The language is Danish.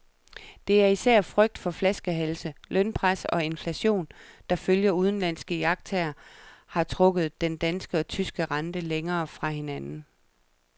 Det er især frygt for flaskehalse, lønpres og inflation, der ifølge udenlandske iagttagere har trukket den danske og tyske rente længere fra hinanden.